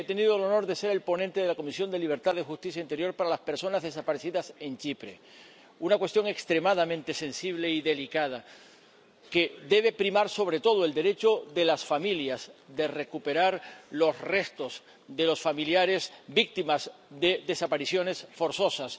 He tenido el honor de ser el ponente de la Comisión de Libertades Civiles, Justicia y Asuntos de Interior para las personas desaparecidas en Chipre, una cuestión extremadamente sensible y delicada, en la que debe primar, sobre todo, el derecho de las familias a recuperar los restos de los familiares víctimas de desapariciones forzosas